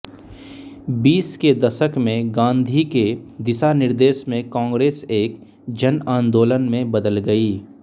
बीस के दशक में गाँधी के दिशानिर्देश में कांग्रेस एक जनांदोलन में बदल गयी